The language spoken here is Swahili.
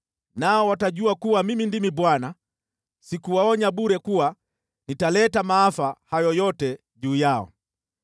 Nao watajua kuwa Mimi ndimi Bwana , sikuwaonya bure kuwa nitaleta maafa hayo yote juu yao.